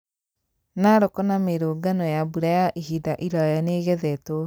Narok na Meru ngano ya mbura ya ihinda iraya nĩĩgethetwo